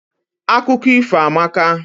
Akụkọ ifo amaka.